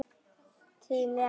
Þín, Eva.